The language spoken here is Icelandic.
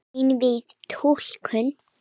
Einvíð túlkun